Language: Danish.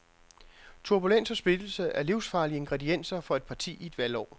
Turbulens og splittelse er livsfarlige ingredienser for et parti i et valgår.